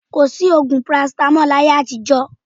Kò sí ògùn parasitamọ́lù ní ayé àtijọ́